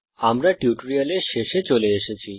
আমরা এই টিউটোরিয়ালের শেষে চলে এসেছি